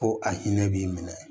Ko a hinɛ b'i minɛ